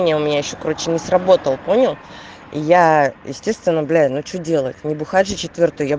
не у меня ещё короче не сработал понял и я естественно блядь ну что делать не бухать же четвёртый